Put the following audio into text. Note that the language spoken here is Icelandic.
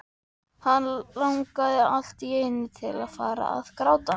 Hann langaði allt í einu til að fara að gráta.